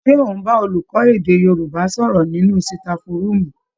Ṣé ò ń bá olùkọ́ èdè Yorùbá sọ̀rọ̀ nínú sitafu rúùmù